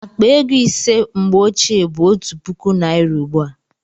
Akpa ego ise mgbe ochie bụ otu puku naira ugbu a